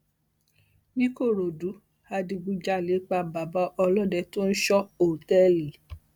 níkòròdú adigunjalè pa bàbá ọlọdẹ tó ń ń sọ òtẹẹlì